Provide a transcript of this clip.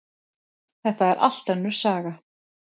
Þetta er allt önnur saga!